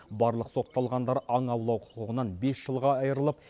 барлық сотталғандар аң аулау құқығынан бес жылға айырылып